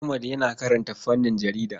Ahmad yana karanta fannin jarida.